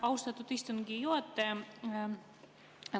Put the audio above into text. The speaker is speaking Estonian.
Austatud istungi juhataja!